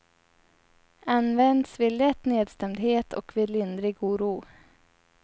Används vid lätt nedstämdhet och vid lindrig oro.